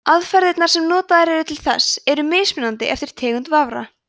aðferðirnar sem notaðar eru til þessa eru mismunandi eftir tegund vafra